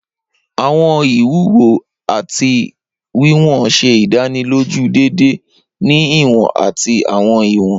Awọn iwuwo ati awọn wiwọn ṣe idaniloju deede ni iwọn ati awọn iwọn.